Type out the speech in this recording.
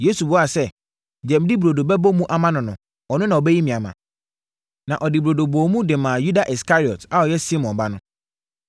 Yesu buaa sɛ, “Deɛ mede burodo bɛbɔ mu ama no no, ɔno na ɔbɛyi me ama.” Na ɔde burodo bɔɔ mu de maa Yuda Iskariot a ɔyɛ Simon ba no.